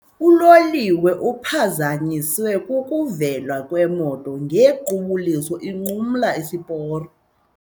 Uloliwe uphazanyiswe kukuvela kwemoto ngequbuliso inqumla isiporo.